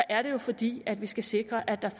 er det jo fordi vi skal sikre at der